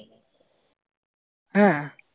হ্যা